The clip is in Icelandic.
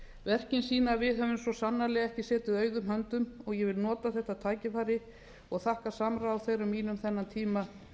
verkin sýna að við höfum svo sannarlega ekki setið auðum höndum og ég vil nota þetta tækifæri og þakka samráð þeirra þennan tíma